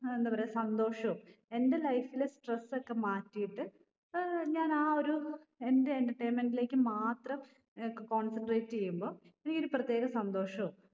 ഏർ എന്തപറയ സന്തോഷോ എൻ്റെ life ൽ stress ഒക്കെ മാറ്റിയിട്ട് ഏർ ഞാന് ആ ഒരു എൻ്റെ entertainment ലേക്ക് മാത്രം ഏർ ക് concentrate എയ്യുമ്പൊ എനിക്കൊരു പ്രത്യേക സന്തോഷോം